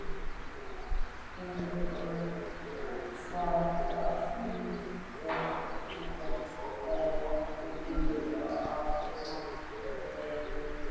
Ingimar, hvaða myndir eru í bíó á mánudaginn?